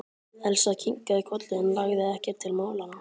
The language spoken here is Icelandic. Elsa kinkaði kolli en lagði ekkert til málanna.